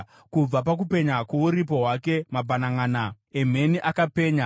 Kubva pakupenya kwokuvapo kwake mabhananʼana emheni akapenya.